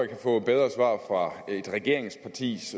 kan få bedre svar fra et regeringspartis